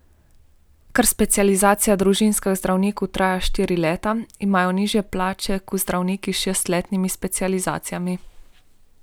Ker specializacija družinskih zdravnikov traja štiri leta, imajo nižje plače kot zdravniki s šestletnimi specializacijami.